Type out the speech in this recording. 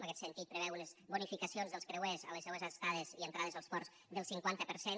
en aquest sentit preveu unes bonificacions dels creuers en les seues estades i entrades als ports del cinquanta per cent